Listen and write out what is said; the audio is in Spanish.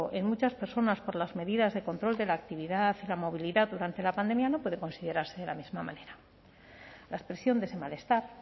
en muchas personas por las medidas de control de la actividad y la movilidad durante la pandemia no puede considerarse de la misma manera la expresión de ese malestar